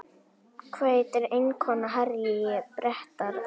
Hvað heitir eiginkona Harry Bretaprins?